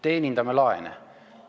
Teenindame laene!